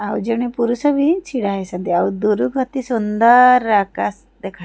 ଆଉ ଜଣେ ପୁରୁଷ ବି ଛିଡ଼ା ହେଇଛନ୍ତି ଆଉ ଦୁରୁକୁ ଅତି ସୁନ୍ଦର୍ ଆକାଶ ଦେଖା --